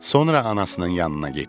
Sonra anasının yanına getdi.